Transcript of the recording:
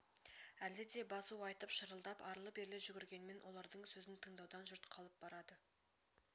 әлі де басу айтып шырылдап арлы-берлі жүгіргенмен олардың сөзін тыңдаудан жұрт қалып барады